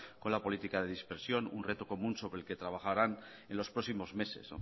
con la política de dispersión un reto común sobre lo que trabajarán en los próximos meses